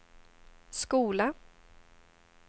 skola